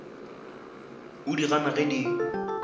o di gana ge di